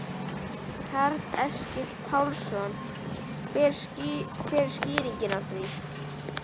Karl Eskil Pálsson: Hver er skýringin á því?